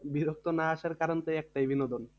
বিরক্ত না আসার কারণ তো ওই একটাই বিনোদন